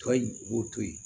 Tɔ in u b'o to yen